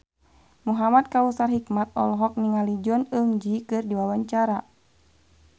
Muhamad Kautsar Hikmat olohok ningali Jong Eun Ji keur diwawancara